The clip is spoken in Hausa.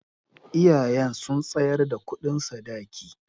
Iyayen su sun tsayar da kudin Sadaki